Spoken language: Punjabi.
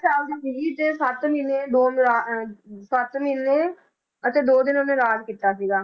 ਸਾਲ ਦੀ ਸੀਗੀ ਤੇ ਸੱਤ ਮਹੀਨੇ ਦੋ ਅਹ ਸੱਤ ਮਹੀਨੇ ਅਤੇ ਦੋ ਦਿਨ ਇਹਨੇ ਰਾਜ ਕੀਤਾ ਸੀਗਾ।